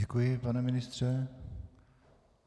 Děkuji, pane ministře.